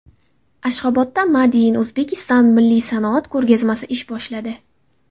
Ashxobodda Made in Uzbekistan milliy sanoat ko‘rgazmasi ish boshladi.